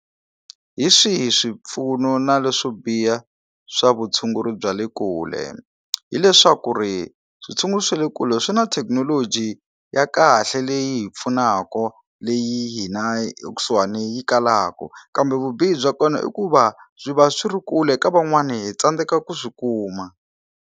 Hi swihi swipfuno na leswo biha swa vutshunguri bya le kule, hileswaku ri switshungulo swa le kule swi na thekinoloji ya kahle leyi yi hi pfunaku leyi hina ekusuhani yi kalaku kambe vubihi bya kona i ku va swi va swi ri kule eka van'wani hi tsandzeka ku swi kuma.